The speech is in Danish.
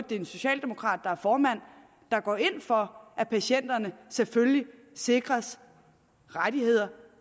det er en socialdemokrat der er formand der går ind for at patienterne selvfølgelig sikres rettigheder